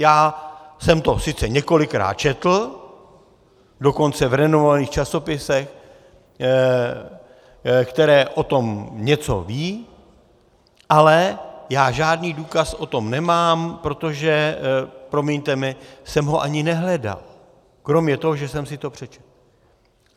Já jsem to sice několikrát četl, dokonce v renomovaných časopisech, které o tom něco vědí, ale já žádný důkaz o tom nemám, protože, promiňte mi, jsem ho ani nehledal, kromě toho, že jsem si to přečetl.